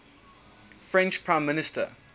french prime minister